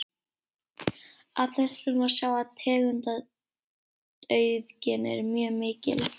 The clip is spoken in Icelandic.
Af þessu má sjá að tegundaauðgin er mjög mikil.